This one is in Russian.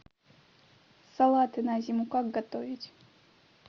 салаты на зиму как готовить